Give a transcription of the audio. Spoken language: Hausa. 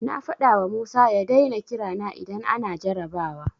Na faɗawa Musa ya daina kira na idan ana jarrabawa.